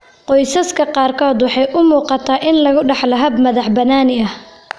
Qoysaska qaarkood, waxa ay u muuqataa in lagu dhaxlo hab madax-bannaani ah.